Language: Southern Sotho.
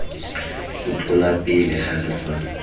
ho tlolapele ha re sa